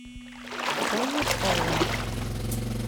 кози хоум